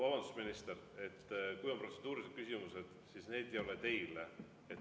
Vabandust, minister, kui on protseduurilised küsimused, siis need ei ole teile.